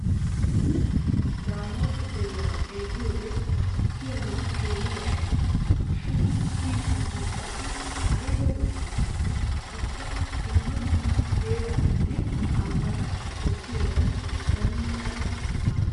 Daamota deriya xeelliyoode kiyanawu keehi yashshes. Shin kiyi simmin qassi ayiba lo'iyaakkonne ubba dumma dumma heeraatanne ambbata bessiyoogan zannaqqanawu maades.